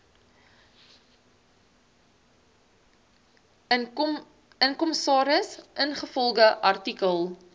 kommissaris ingevolge artikel